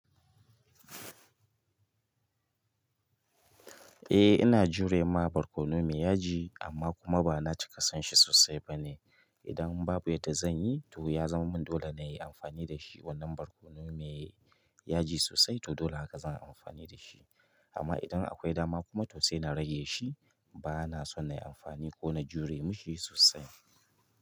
Eh ina jurema barkonu mai yaji amma bana cika sonshi sosai bane idan babu yadda zan yi to ya zama min dole na yi amfani da shi wannan barkono mai yaji sosai to dole haka zan yi amfani da shi. Amma idan akwai dama kuma to sai na rage shi. Ba na so na yi amfani ko na jure ma shi sosai.